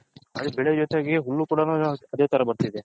Other ಬೆಳೆ ಜೊತೆಗೆ ಹುಲ್ಲು ಕುಡಾನು ಅದೇ ತರ ಬರ್ತೈದೆ .